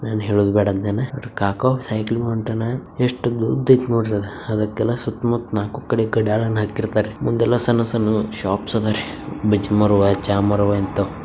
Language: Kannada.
ಯೆನ್ ಹೇಳದಬೇಡ ಅಂದನ್ ಸೈಡಿಗ್ ಹೊಂಟನ್ ಎಷ್ಟ ಉದ್ದೈತಿ ನೋಡ್ರಿ ಅದು ಅದಕೆಲ್ ಸುತ್ತ ಮುಟ್ಟ ನಾಲ್ಕು ಕಡಿ ಎಲ್ಲ್ ಮುಂದ ಎಲ್ಲ್ ಸಣ್ಣು ಸಣ್ಣು ಶವಪ್ಸ್ ಅದಾವ್ರಿ ಚಾ ಮಾಡವ್ ಇಂತ್ತವ್.